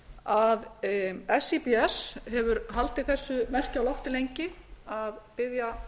að síbs hefur haldið þessu merki á lofti lengi að biðja